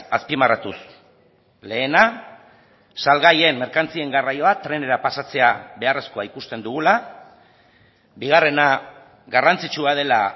azpimarratuz lehena salgaien merkantzien garraioa trenera pasatzea beharrezkoa ikusten dugula bigarrena garrantzitsua dela